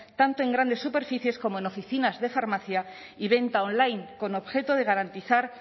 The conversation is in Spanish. tanto en grandes superficies como en oficinas de farmacia y venta online con objeto de garantizar